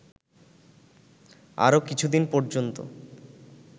আরো কিছুদিন পর্যন্ত